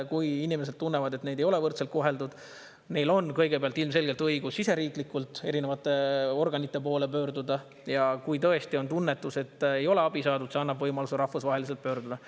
Kui inimesed tunnevad, et neid ei ole võrdselt koheldud, siis neil on kõigepealt ilmselgelt õigus siseriiklikult erinevate organite poole pöörduda, ja kui tõesti on tunnetus, et ei ole abi saadud, siis see annab võimaluse rahvusvaheliselt pöörduda.